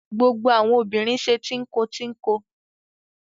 Gbogbo àwọn obìnrin ṣe tínko-tínko.